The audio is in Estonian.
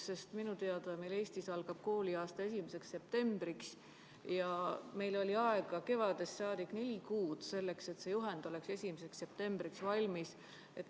Sest minu teada algab Eestis kooliaasta 1. septembril ja meil oli kevadest alates neli kuud aega, et teha see juhend 1. septembriks valmis.